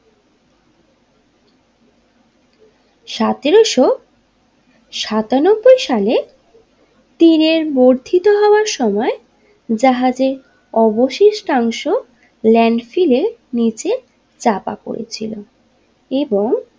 সাতেরোশো সাতানব্বই সালে তীরের বর্ধিত হবার সময় জাহাজে অবশিষ্টাংশ ল্যান্ডফিলের নিচে চাপা পড়েছিল এবং।